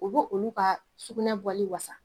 U bo olu ka sugunɛ bɔli wa.